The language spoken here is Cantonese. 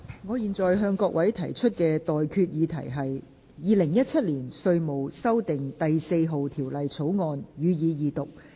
我現在向各位提出的待決議題是：《2017年稅務條例草案》，予以二讀。